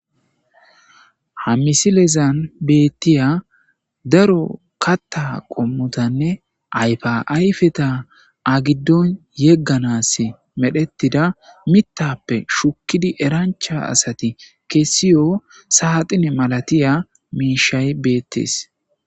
Ha misilezan beettiya daro katta qommotanne ayfa ayfeta agiddon yegganas medhettida mittappe shukkidi erancha asati kessiyo saaxine malatiya miishay beettees